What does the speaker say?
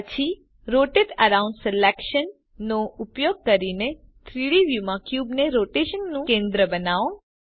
પછી rotate around selection નો ઉપયોગ કરી 3ડી વ્યુંમાં ક્યુબ ને રોટેશન નું કેન્દ્ર બનાવો